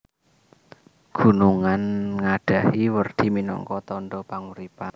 Gunungan ngadhahi werdi minangka tandha panguripan